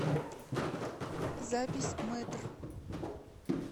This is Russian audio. запись мэтр